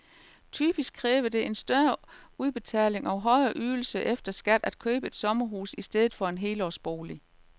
Typisk kræver det en større udbetaling og højere ydelse efter skat at købe et sommerhus i stedet for en helårsbolig.